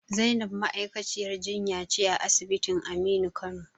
Zainab ma'aikaciyar jinya ce a asibitin Aminu Kano.